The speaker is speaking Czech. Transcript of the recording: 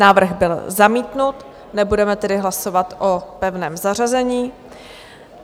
Návrh byl zamítnut, nebudeme tedy hlasovat o pevném zařazení.